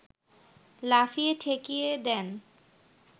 লাফিয়ে ঠেকিয়ে দেন